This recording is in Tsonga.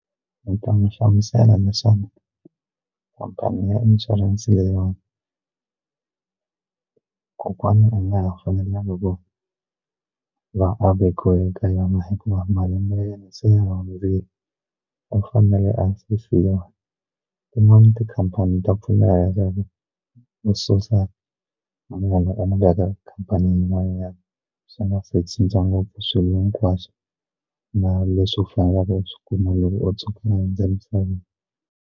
Ni ta n'wi hlamusela naswona khampani ya inshurense leyiwani kokwana a nga ha fanelanga ku a va vekiweke ka yona hikuva malembe ya yena se ma u fanele a sefiwa tin'wana tikhampani ta pfuneta u susa mayelana ka khampanini yin'wanyana swi nga se cinca ngopfu swilo hinkwaswo na leswi u faneleke u sw ikuma loko u tshuka u hundze emisaveni.